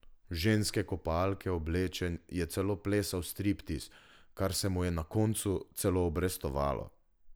V ženske kopalke oblečen je celo plesal striptiz, kar se mu je na koncu celo obrestovalo.